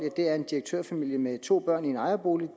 er en direktørfamilie med to børn i en ejerbolig